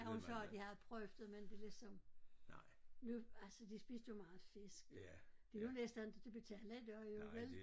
Jeg har jo så jeg har prøvet men det ligesom nu altså de spiste jo meget fisk det er jo næsten inte til at betale i dag jo vel